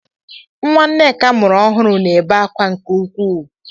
Nwa Nneka mụrụ ọhụrụ na-ebe akwa nke ukwuu.